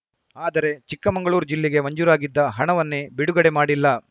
ಆದರೆ ಚಿಕ್ಕಮಂಗಳೂರು ಜಿಲ್ಲೆಗೆ ಮಂಜೂರಾಗಿದ್ದ ಹಣವನ್ನೇ ಬಿಡುಗಡೆ ಮಾಡಿಲ್ಲ